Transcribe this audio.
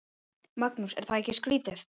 Magnús: Er það ekki skrítið?